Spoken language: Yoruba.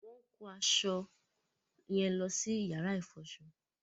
Wọ́n ń kó awọn aṣọ yẹn lọ sí yàrá ìfọṣọ